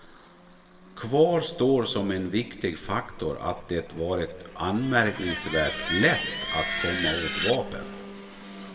Kvar står som en viktig faktor att det varit anmärkningsvärt lätt att komma åt vapen.